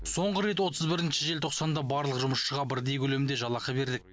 соңғы рет отыз бірінші желтоқсанда барлық жұмысшыға бірдей көлемде жалақы бердік